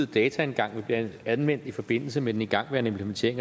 dataadgang vil blive anvendt i forbindelse med den igangværende implementering